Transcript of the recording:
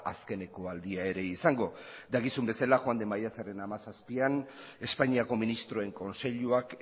azkeneko aldia ere izango dakizuen bezala joan den maiatzaren hamazazpian espainiako ministroen kontseiluak